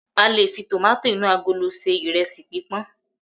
q lè fi tomato inu agolo se iresi pipọn